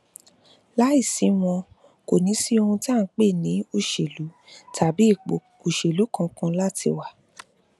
láì sí wọn kò ní sí ohun tí à ń pè ní òṣèlú tàbí ipò òṣèlú kankan láti wà